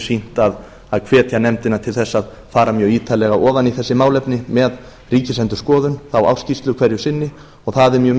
sýnt að hvetja nefndina til þess að fara mjög ítarlega ofan í þessi málefni með ríkisendurskoðun þá ársskýrslu hverju sinni það er mjög